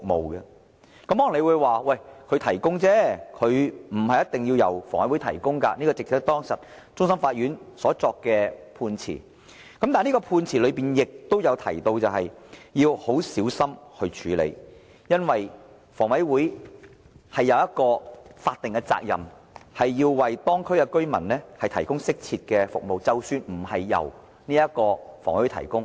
大家可能會說，這些設施不一定要由房委會提供，這亦是當時終審法院所作的判詞。但是，判詞亦提到要很小心處理此事，因為房委會有法定責任，須為當區居民提供適切的服務，即使這些服務並非直接由房委會提供。